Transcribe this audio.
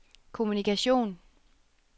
kommunikation